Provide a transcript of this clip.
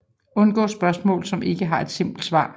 Undgå spørgsmål som ikke har et simpelt svar